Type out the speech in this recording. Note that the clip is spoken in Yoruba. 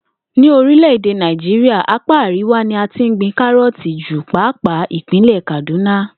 Ní orílè̩-èdè Nàìjíríà, apá àríwá ni a ti ń gbin káró̩ò̩tì jù pàápàá ìpínlè̩ Kàdúnà